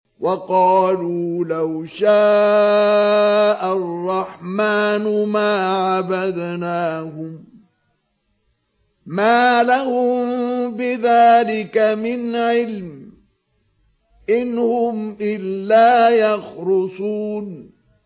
وَقَالُوا لَوْ شَاءَ الرَّحْمَٰنُ مَا عَبَدْنَاهُم ۗ مَّا لَهُم بِذَٰلِكَ مِنْ عِلْمٍ ۖ إِنْ هُمْ إِلَّا يَخْرُصُونَ